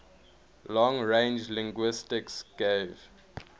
long range linguistics gave